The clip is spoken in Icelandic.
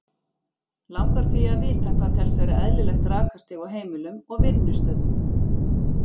Langar því að vita hvað telst vera eðlilegt rakastig á heimilum og vinnustöðum.